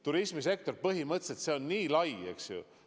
Turismisektor põhimõtteliselt on nii lai, eks ju.